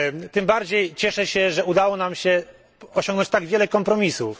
Tym bardziej cieszę się, że udało nam się osiągnąć tak wiele kompromisów.